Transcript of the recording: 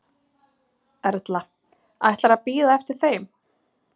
Erla: Ætlarðu að bíða eftir þeim?